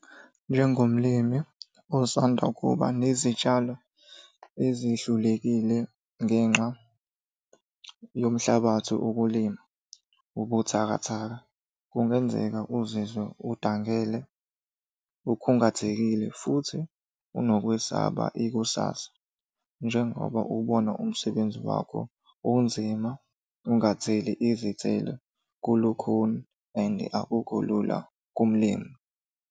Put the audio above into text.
Njengomlimi osanda kuba nezitshalo ezihlulekile ngenxa yomhlabathi wokulima obuthakathaka, kungenzeka uzizwe udangele, ukhungathekile, futhi unokwesaba ikusasa. Njengoba uwubona umsebenzi wakho unzima ungatheli izithelo kulukhuni and akukho lula kumlimi.